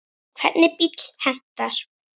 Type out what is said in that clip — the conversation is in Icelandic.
Hvernig bíll hentar?